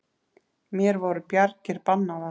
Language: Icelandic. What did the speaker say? Mér voru bjargir bannaðar.